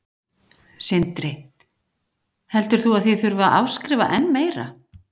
Sindri: Heldur þú að þið þurfið að afskrifa enn meira?